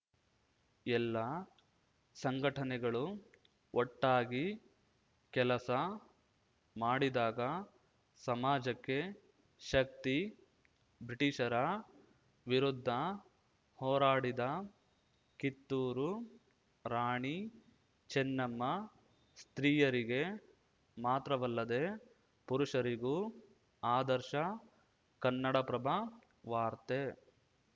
ಎಲ್ಲಲ್ಲಾ ಸಂಘಟನೆಗಳು ಒಟ್ಟಾಗಿ ಕೆಲಸ ಮಾಡಿದಾಗ ಸಮಾಜಕ್ಕೆ ಶಕ್ತಿ ಬ್ರಿಟೀಷರ ವಿರುದ್ಧ ಹೋರಾಡಿದ ಕಿತ್ತೂರು ರಾಣಿ ಚೆನ್ನಮ್ಮ ಸ್ತ್ರೀಯರಿಗೆ ಮಾತ್ರವಲ್ಲದೆ ಪುರುಷರಿಗೂ ಆದರ್ಶ ಕನ್ನಡಪ್ರಭ ವಾರ್ತೆ